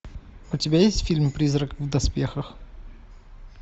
у тебя есть фильм призрак в доспехах